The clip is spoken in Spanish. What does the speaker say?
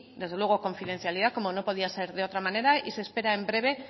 desde luego confidencialidad como no podía ser de otra manera y se espera en breve